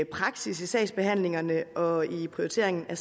praksis i sagsbehandlingerne og prioriteringen af